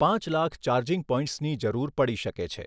પાંચ લાખ ચાર્જિંગ પૉઇન્ટ્સની જરૂર પડી શકે છે.